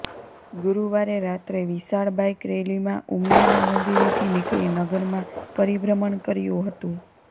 ગુરુવારે રાત્રે વિશાળ બાઇક રેલીમાં ઉમિયાના મંદિરેથી નીકળી નગરમાં પરિભ્રમણ કર્યું હતું